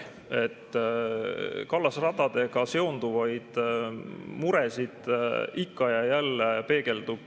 Kallasradadega seonduvaid muresid ikka ja jälle peegeldub.